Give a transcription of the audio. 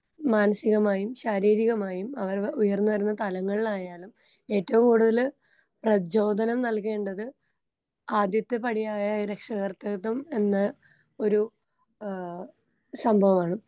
മാനസികമായും ശാരീരികമായും അവൻ ഉയർന്ന് വരുന്ന തലങ്ങളിലായാലും ഏറ്റോം കൂടുതല് പ്രചോദനം നൽകേണ്ടത് ആദ്യത്തെ പാടിയ രക്ഷാകർതൃത്വം എന്ന ഒരു ആ സംഭവാണ്.